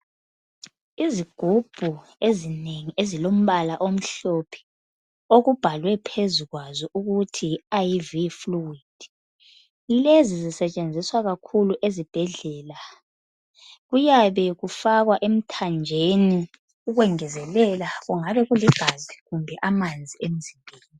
Izigubhu ezinengi ezilombala omhlophe okubhalwe phezu kwazo ukuthi yiIV Fluid. Lezi zisetshenziswa kakhulu ezibhedlela. Kuyabe kufakwa emthanjeni ukwengezelela kungabe kuligazi kumbe amanzi emzimbeni.